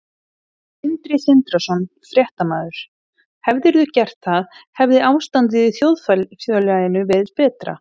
Sindri Sindrason, fréttamaður: Hefðirðu gert það hefði ástandið í þjóðfélaginu verið betra?